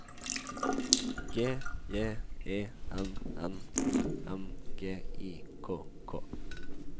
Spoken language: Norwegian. G J E N N O M G I K K